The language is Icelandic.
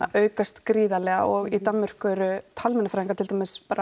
aukast gríðarlega og í Danmörku eru talmeinafræðingar til dæmis